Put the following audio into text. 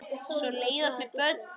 Og svo leiðast mér börn.